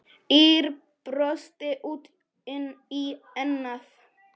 Ýr brosti út í annað.